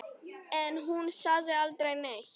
En hún sagði aldrei neitt.